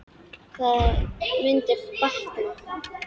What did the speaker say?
Það mundi batna.